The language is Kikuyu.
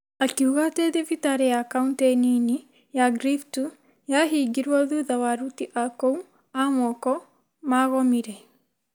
Akiuga atĩ thibitarĩ ya Kauntĩ nini ya Griftu yahingirũo thutha wa aruti a kou a moko magomire,